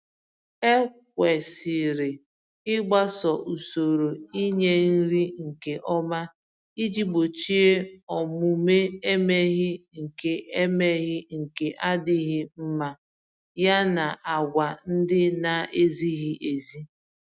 Ekwesịrị ịgbaso usoro ịnye nri nke ọma iji gbochie omume emeghi nke emeghi nke adịghị mma, ya na àgwà ndị naezighị ezi.